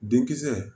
Denkisɛ